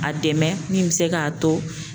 A dɛmɛ min bɛ se k'a to